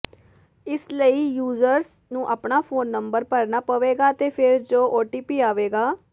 ਇਸ ਲਈ ਯੂਜ਼ਰਸ ਨੂੰ ਆਪਣਾ ਫੋਨ ਨੰਬਰ ਭਰਨਾ ਪਵੇਗਾ ਤੇ ਫੇਰ ਜੋ ਓਟੀਪੀ ਆਵੇਗਾ